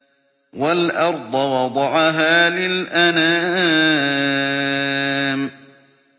وَالْأَرْضَ وَضَعَهَا لِلْأَنَامِ